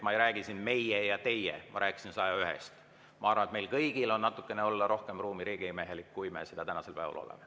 Ma ei räägi siin "meie ja teie", ma rääkisin 101‑st. Ma arvan, et meil kõigil on ruumi olla natukene rohkem riigimehelik, kui me seda tänasel päeval oleme.